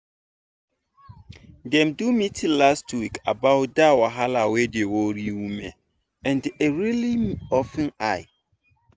dem do meeting last week about that wahala wey dey worry women and e really open eye.